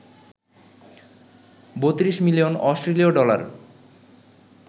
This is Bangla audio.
৩২ মিলিয়ন অস্ট্রেলীয় ডলার